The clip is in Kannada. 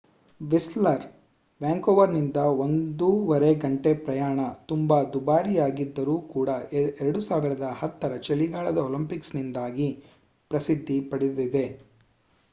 ವಿಸ್ಲರ್ ವ್ಯಾಂಕೋವರ್‌ನಿಂದ 1.5 ಗಂಟೆ ಪ್ರಯಾಣ ತುಂಬಾ ದುಬಾರಿಯಾಗಿದ್ದರೂ ಕೂಡ 2010 ರ ಚಳಿಗಾಲದ ಒಲಿಂಪಿಕ್ಸ್‌ನಿಂದಾಗಿ ಪ್ರಸಿದ್ಧಿ ಪಡೆದಿದೆ